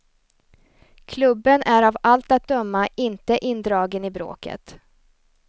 Klubben är av allt att döma inte indragen i bråket.